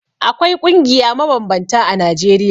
Akwai ƙungiya mabambanta a Najeriya.